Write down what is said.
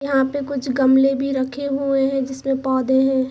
यहाँ पे कुछ गमले भी रखे हुए है जिसमे पौधे है।